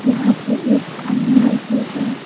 यहां पे एक आईना भी है।